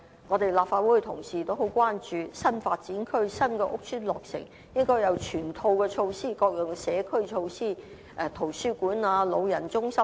我們立法會同事也很關注新發展區內新落成的屋邨，認為應該設有全套社區設施，例如圖書館、長者中心等。